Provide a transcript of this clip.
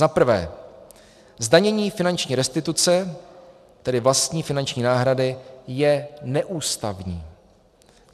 Za prvé, zdanění finanční restituce, tedy vlastní finanční náhrady, je neústavní.